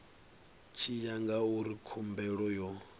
tshi ya ngauri khumbelo yo